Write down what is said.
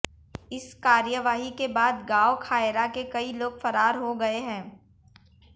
इस कार्रवाई के बाद गांव खायरा के कई लोग फरार हो गए हैं